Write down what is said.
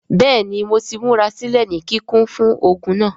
Bẹẹni Mo ti murasilẹ ni kikun fun ogun naa.